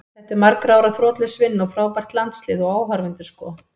Þetta er margra ára þrotlaus vinna og frábært landslið, og áhorfendur sko.